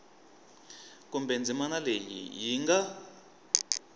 kumbe ndzimana leyi yi nga